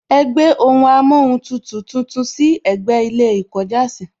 Ẹ gbé ohun amóhuntutù tuntun sí ẹ̀gbẹ́ ilé ìkọjásìí